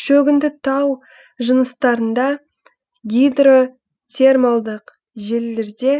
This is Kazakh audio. шөгінді тау жыныстарында гидротермалдық желілерде